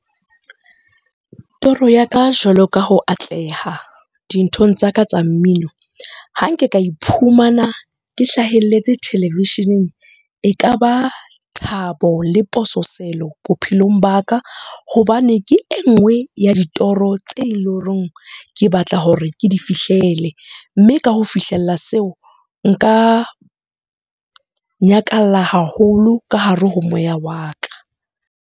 Toro ya ka jwalo ka ho atleha dinthong tsaka tsa mmino. Ha nke ka iphumana ke hlahelletse televisheneng e kaba thabo le pososelo bophelong ba ka, hobane ke e nngwe ya ditoro tse leng horeng ke batla hore ke di fihlele. Mme ka ho fihlella seo, nka nyakalla haholo ka hare ho moya wa ka.